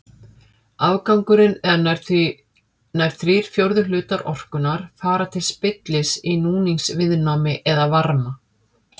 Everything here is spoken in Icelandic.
Afgangurinn eða nær þrír fjórðu hlutar orkunnar fara til spillis í núningsviðnámi eða varma.